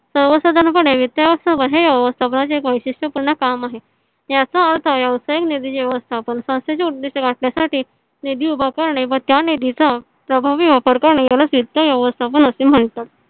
सर्वसाधारण पणे वित्त व्यवस्थापन व्यवस्थापनचे हे एक वैशिष्टय पूर्ण काम आहे . याचा अर्थ व्यवसईक निधी व्यवस्थापान संस्थेचे उदिष्ट गाठण्यासाठी निधी उभा करणे व त्या निधी चा प्रभावी वापर करणे यालाच वित्त व्यवस्थापन असे म्हणतात.